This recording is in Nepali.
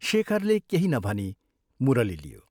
" शेखरले केही नभनी मुरली लियो।